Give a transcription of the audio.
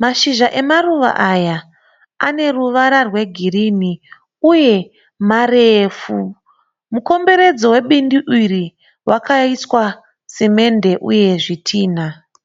.Mashizha emaruva aya aneruvara rwe girirni uye marefu. Mukomboredzo webindu iri wakaiswa simende uye zvitinha.